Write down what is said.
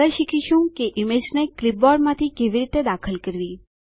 આગળ શીખીશું કે ઈમેજને ક્લીપબોર્ડમાંથી કેવી રીતે દાખલ કરવી